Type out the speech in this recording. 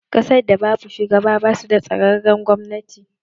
Ƙasar da babu shugaba basu da tsararren gwamnati